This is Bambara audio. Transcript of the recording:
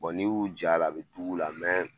N'i y'u j'a la a bi dig'ura